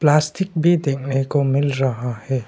Plastic भी देखने को मिल रहा है।